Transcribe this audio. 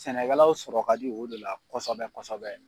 Sɛnɛkɛlaw sɔrɔ ka di o de la kɔsɔbɛ kɔsɔbɛ.